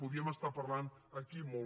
podríem estar parlant aquí molt